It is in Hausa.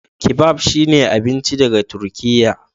Kebab shine abinci daga Turkiyya.